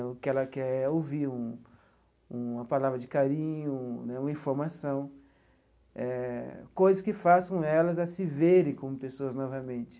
O que ela quer é ouvir um um uma palavra de carinho né, uma informação eh, coisas que façam elas a se verem como pessoas novamente.